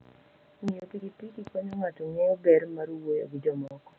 Ng'iyo pikipiki konyo ng'ato ng'eyo ber mar wuoyo gi jomoko.